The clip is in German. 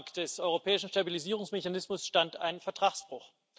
Am Anfang des europäischen Stabilisierungsmechanismus stand ein Vertragsbruch.